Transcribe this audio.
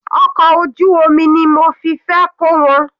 Ọkọ̀ ojú omi ni mo fi fẹ́ kó wọn.